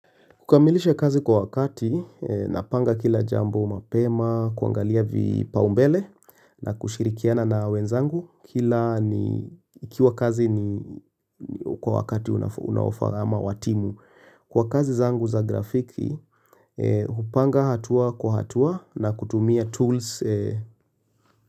Kukamilisha kazi kwa wakati eeee, napanga kila jambo mapema, kuangalia vipa umbele na kushirikiana na wenzangu kila ni,, ikiwa kazi ni niii kwa wakati unafa unaofaa ama wa timu. Kwa kazi zangu za gafiki eeee, hupanga hatua kwa hatua na kutumia tools.eeee